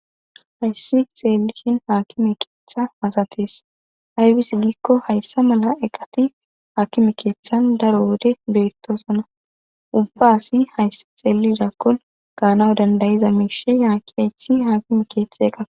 hayssi xeelishin haakime keeththa masates aybis giikko hayssa mala eqati haakime keeththan daro wode beettosona ubba asi hayssi xeelizakkon gaanao dandayiza miishe yaaki haythi haakime keethe eqaf